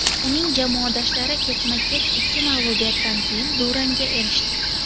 Uning jamoadoshlari ketma-ket ikki mag‘lubiyatdan keyin durangga erishdi.